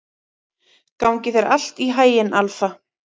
Gangi þér allt í haginn, Alfa.